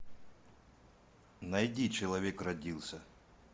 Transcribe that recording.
найди человек родился